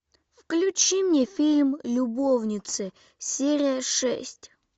включи мне фильм любовницы серия шесть